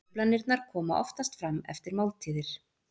Truflanirnar koma oftast fram eftir máltíðir.